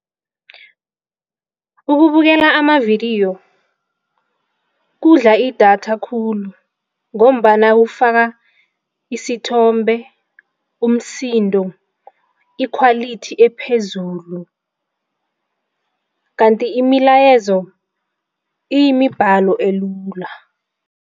Ukubukela amavidiyo kudla idatha khulu ngombana kufaka isithombe umsindo, ikhwalithi ephezulu kanti imilayezo iyimibhalo elula.